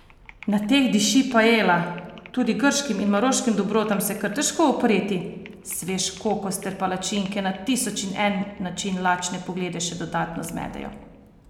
Na teh diši paela, tudi grškim in maroškim dobrotam se je kar težko upreti, svež kokos ter palačinke na tisoč in en način lačne poglede še dodatno zmedejo.